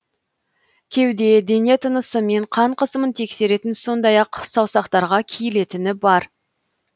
кеуде дене тынысы мен қан қысымын тексеретін сондай ақ саусақтарға киілетіні бар